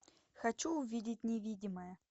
хочу увидеть невидимое